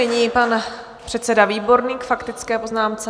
Nyní pan předseda Výborný k faktické poznámce.